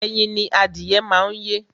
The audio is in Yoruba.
Ẹyin ni adìyẹ má ń yé